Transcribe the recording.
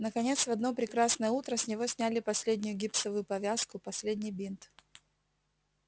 наконец в одно прекрасное утро с него сняли последнюю гипсовую повязку последний бинт